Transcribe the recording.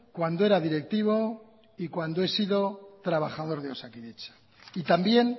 cuando era directivo y cuando he sido trabajador de osakidetza y también